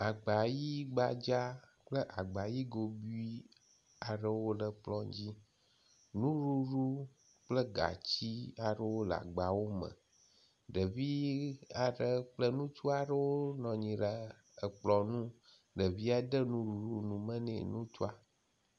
Agba ʋi gbadza kple agba ʋi gobui aɖewo le kplɔ dzi. Nuɖuɖu kple gatsi aɖewo le agbawo me. Ɖevi aɖe kple ŋutsu aɖewo nɔ anyi ɖe ekplɔ nu ɖevia de nuɖuɖu nume ne ŋutsua.